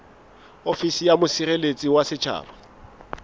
ofisi ya mosireletsi wa setjhaba